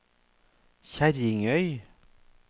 Kjerringøy